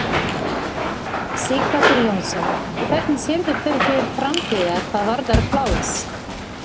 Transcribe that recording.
Sighvatur Jónsson: Hvernig sérðu fyrir þér framtíðina hvað varðar pláss?